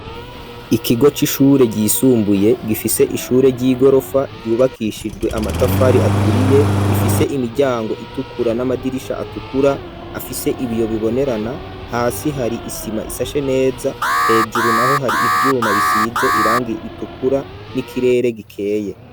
Ikigo c'ishure ryisumbuye gifise ishure ry'igorofa vyubakishijwe amatafari aturiye ifise imiryango itukura, n'amadirisha atukura afise ibiyo bibonerana, hasi hari isima isashe neza hejuru naho hari ivyuma bisize irangi ritukura n'ikirere gikeye.